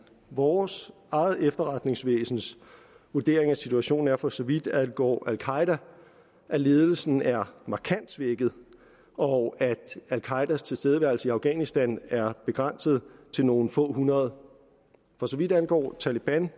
vores eget efterretningsvæsens vurdering af situationen er for så vidt angår al qaeda at ledelsen er markant svækket og at al qaedas tilstedeværelse i afghanistan er begrænset til nogle få hundrede for så vidt angår taleban